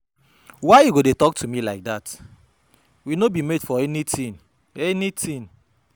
Why you go dey talk to me like dat? We no be mate for anything. anything.